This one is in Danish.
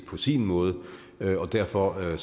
på sin måde og derfor er